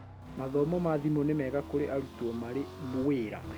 Mathomo ma thimũ nĩ mega kũrĩ aruteo marĩ wĩra